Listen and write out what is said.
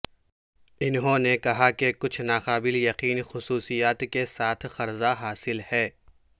انہوں نے کہا کہ کچھ ناقابل یقین خصوصیات کے ساتھ قرضہ حاصل ہے